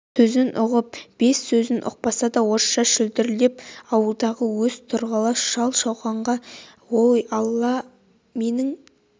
сөзін ұғып бес сөзін ұқпаса да орысша шүлдірлеп ауылдағы өз тұрғылас шал-шауқанға ой алла менің